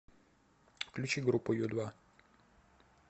включи группу ю два